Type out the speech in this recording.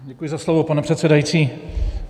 Děkuji za slovo, pane předsedající.